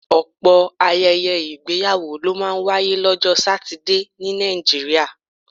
Ọ̀pọ̀ ayẹyẹ ìgbéyàwó ló máa ń wáyé lọ́jọ́ Satidé ní Nàìjíríà